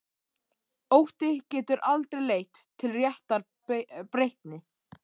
Ótti getur aldrei leitt til réttrar breytni.